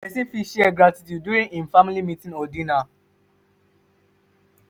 person fit share gratitude during im family meeting or dinner